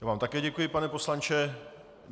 Já vám také děkuji, pane poslanče.